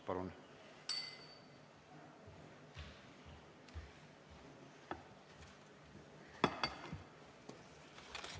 Palun!